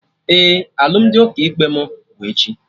Ee, alụmdi ụkọ ikpe mụ bụ echi